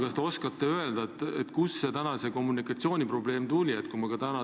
Kas te oskate öelda, kust täna see kommunikatsiooniprobleem tekkis?